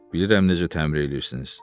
Bilirəm necə təmir eləyirsiniz.